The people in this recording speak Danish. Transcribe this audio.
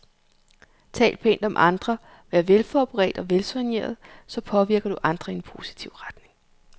Tal pænt om andre, vær velforberedt og velsoigneret, så påvirker du andre i en positiv retning.